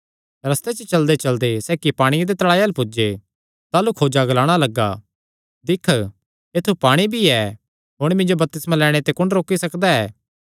रस्ते च चलदेचलदे सैह़ इक्क पांणिये दे तल़ाऐ अल्ल पुज्जे ताह़लू खोजा ग्लाणा लग्गा दिक्ख ऐत्थु पाणी भी ऐ हुण मिन्जो बपतिस्मा लैणे ते कुण रोकी सकदा ऐ